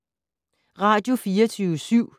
Radio24syv